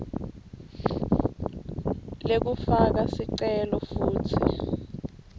lekufaka sicelo futsi